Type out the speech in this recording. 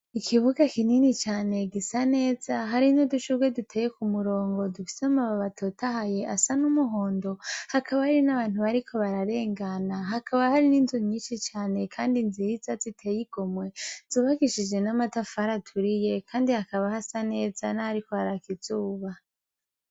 Ikibuga kinini cane gisa neza harino dushurwe duteye ku murongo dufisama ba batotahaye asa n'umuhondo hakaba hari n'abantu bariko bararengana hakaba hari n'inzu nyinshi cane, kandi nziza ziteyigo mwe zubagishije n'amatafari aturiye, kandi hakaba hasa neza na hariko harakizuba.